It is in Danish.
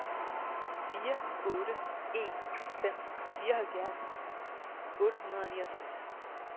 fire otte en fem fireoghalvfjerds otte hundrede og niogtres